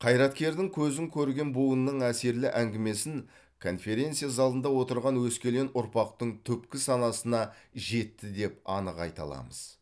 қайраткердің көзін көрген буынның әсерлі әңгімесін конференция залында отырған өскелең ұрпақтың түпкі санасына жетті деп анық айта аламыз